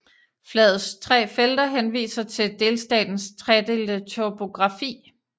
Flagets tre felter henviser til delstatens tredelte topografi